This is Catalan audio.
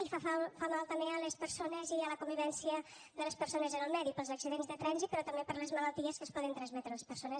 i fa mal també a les persones i a la convivència de les persones en el medi pels accidents de trànsit però també per les malalties que es poden transmetre a les persones